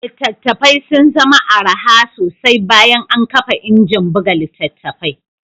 Littattafai sun zama araha sosai bayan an kafa injin buga littattafai